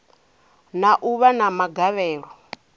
na u vha na magavhelo